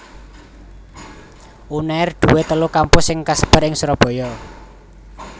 Unair duwé telu kampus sing kasebar ing Surabaya